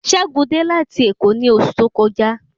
Ṣẹ́gun dé láti èkó ni osu to kọjá